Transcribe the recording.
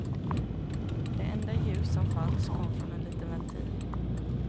Det enda ljus som fanns kom från en liten ventil.